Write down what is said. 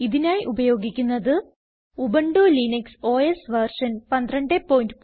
ഇതിനായി ഉപയോഗിക്കുന്നത് Ubuntu Linux OS version 1204